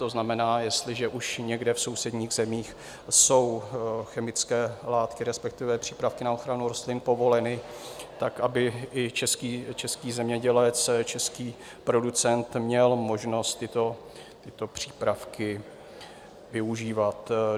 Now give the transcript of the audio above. To znamená, jestliže už někde v sousedních zemích jsou chemické látky, respektive přípravky na ochranu rostlin povoleny, tak aby i český zemědělec, český producent měl možnost tyto přípravky využívat.